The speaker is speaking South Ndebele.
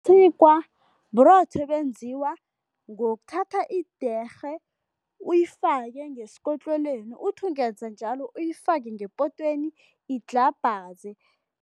Isikwa burotho ebenziwa ngokuthatha idiyerhe, uyifake ngesikotlelweni, uthi ungenza njalo, uyifake ngepotweni idlhabhaze.